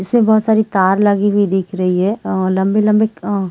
इसमें बहोत सारी तार लगी हुई दीख रही हे अ लम्बे लम्बे अ--